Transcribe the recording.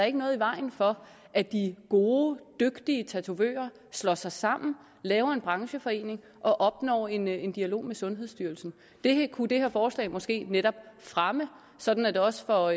ikke noget i vejen for at de gode dygtige tatovører slår sig sammen laver en brancheforening og opnår en en dialog med sundhedsstyrelsen det kunne det her forslag måske netop fremme sådan at det også for